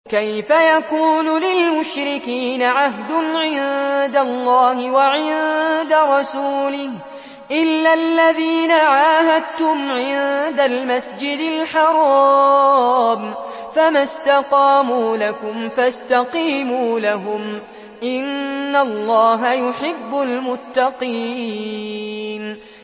كَيْفَ يَكُونُ لِلْمُشْرِكِينَ عَهْدٌ عِندَ اللَّهِ وَعِندَ رَسُولِهِ إِلَّا الَّذِينَ عَاهَدتُّمْ عِندَ الْمَسْجِدِ الْحَرَامِ ۖ فَمَا اسْتَقَامُوا لَكُمْ فَاسْتَقِيمُوا لَهُمْ ۚ إِنَّ اللَّهَ يُحِبُّ الْمُتَّقِينَ